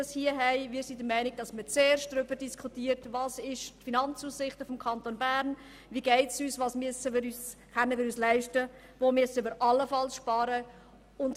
Wir sind der Meinung, man müsse zuerst darüber diskutieren, welches die Finanzaussichten des Kantons Bern sind, wie es uns geht, was wir uns leisten können und wo wir allenfalls sparen müssen.